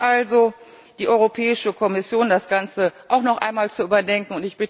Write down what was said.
ist. Ich bitte also die Europäische Kommission, das Ganze auch noch einmal zu überdenken.